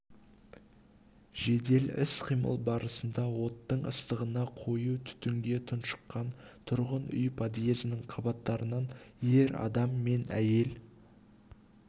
жедел іс-қимыл барысында оттың ыстығына қою түтінге тұншыққан тұрғын үй подъезінің қабатынан ер адам мен әйел